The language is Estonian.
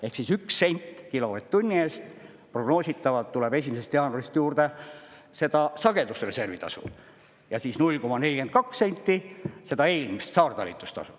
Ehk siis üks sent kilovatt-tunni eest prognoositavalt tuleb 1. jaanuarist juurde seda sagedusreservitasu ja siis 0,42 senti seda eelmist, saartalitlustasu.